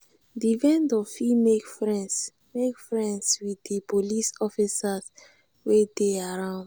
di vendor fit make friends make friends with di police officers wey dey around